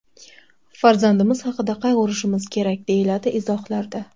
Farzandimiz haqida qayg‘urishimiz kerak”, deyiladi izohlarda.